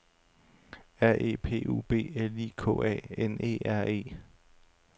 R E P U B L I K A N E R E